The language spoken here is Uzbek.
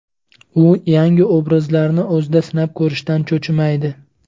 U yangi obrazlarni o‘zida sinab ko‘rishdan cho‘chimaydi.